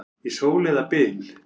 Í sól eða byl.